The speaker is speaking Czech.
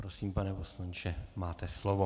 Prosím, pane poslanče, máte slovo.